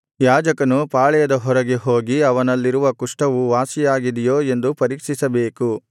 ಯಾಜಕನು ಪಾಳೆಯದ ಹೊರಗೆ ಹೋಗಿ ಅವನಲ್ಲಿರುವ ಕುಷ್ಠವು ವಾಸಿಯಾಗಿದೆಯೋ ಎಂದು ಪರೀಕ್ಷಿಸಬೇಕು